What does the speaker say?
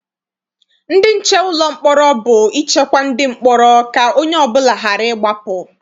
Ndị nche ụlọ mkpọrọ bụ ichekwa ndị mkpọrọ ka onye ọbụla ghara ịgbapụ.